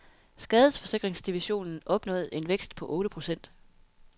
Skadesforsikringsdivisionen opnåede en vækst på otte procent.